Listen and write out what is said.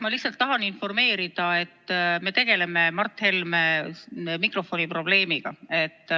Ma lihtsalt tahan informeerida, et me tegeleme Mart Helme mikrofoniprobleemiga.